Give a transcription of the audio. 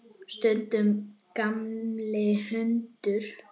Stundum gamall hundur.